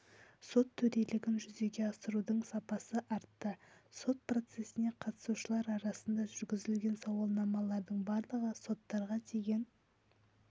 сот төрелігін жүзеге асырудың сапасы артты сот процестеріне қатысушылар арасында жүргізілген сауалнамалардың барлығы соттарға деген